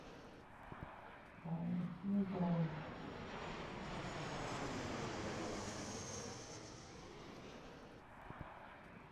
фильм про